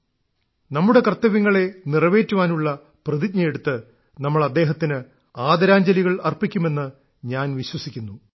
സ്വന്തം കർത്തവ്യങ്ങളെ നിറവേറ്റാനുള്ള പ്രതിജ്ഞയെടുത്ത് നമ്മൾ അദ്ദേഹത്തിന് ആദരാഞ്ജലികൾ അർപ്പിക്കുമെന്ന് ഞാൻ വിശ്വസിക്കുന്നു